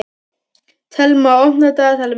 Thelma, opnaðu dagatalið mitt.